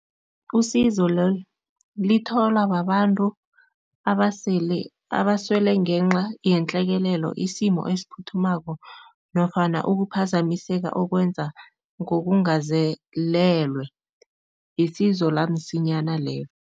Usizo lolu litholwa babantu abasele abaswele ngenxa yenhlekelelo, isimo esiphuthumako nofana ukuphazamiseka okwenza ngokungazelelwe, isizo lamsimyana lelo.